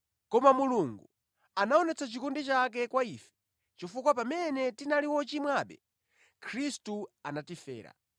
Koma Mulungu anaonetsa chikondi chake kwa ife chifukwa pamene tinali ochimwabe, Khristu anatifera.